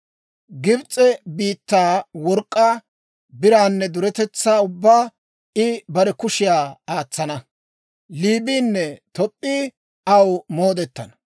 Gibs'e biittaa work'k'aa, biraanne duretetsaa ubbaa I bare kushiyaa aatsana. Liibiinne Toop'p'ii aw moodetana.